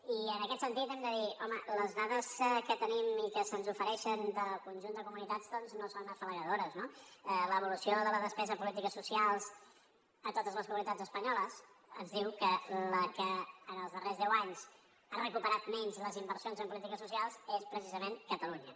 i en aquest sentit hem de dir home les dades que tenim i que se’ns ofereixen del conjunt de comunitats doncs no són afalagadores no l’evolució de la despesa en polítiques socials a totes les comunitats espanyoles ens diu que la que en els darrers deu anys ha recuperat menys les inversions en polítiques socials és precisament catalunya